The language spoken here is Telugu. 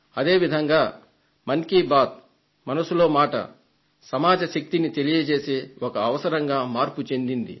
అదే విధంగా మన్ కీ బాత్ మనసులో మాట సమాజ శక్తిని తెలియజేసే ఒక అవసరంగా మార్పు చెందింది